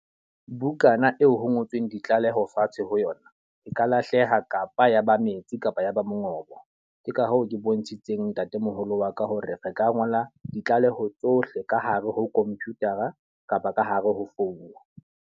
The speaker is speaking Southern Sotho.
Bukana eo ho ngotsweng ditlaleho fatshe ho yona. E ka lahleha kapa yaba metsi kapa ya ba mongobo. Ke ka hoo ke bontshitseng ntatemoholo wa ka hore re ka ngola ditlaleho tsohle ka hare ho computer-a kapa ka hare ho founu.